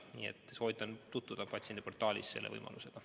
Nii et soovitan tutvuda patsiendiportaalis selle võimalusega.